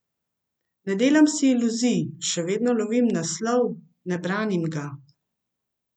Ne delam si iluzij, še vedno lovim naslov, ne branim ga.